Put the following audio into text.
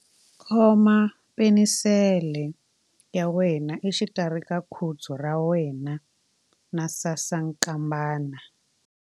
Khoma penisele ya wena exikarhi ka khudzu ra wena na sasankambana.